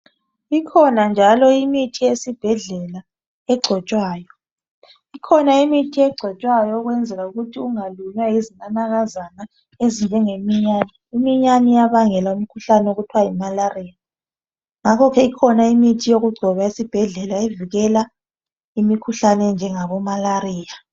Ikhona njalo imithi yesibhedlela egcotshwayo. Ikhona imithi egcotshwayo ukwenzela ukuthi ungalunywa yizinakazana ezinjenge minyane. Iminyane iyabangela umkhuhlane okuthiwa yi malaria. Ngakho ke ikhona imithi yokugcoba esibhedlela evikela imikhuhlane enjengabo malaria.